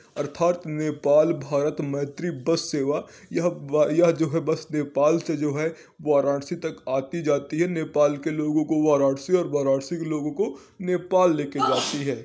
अर्थात नेपाल भारत मैत्री बस सेवा यह ब यह जो है बस नेपाल से जो है वाराणसी तक आती जाती है नेपाल के लोगों को वाराणसी और वाराणसी के लोगों को नेपाल लेके जाती है।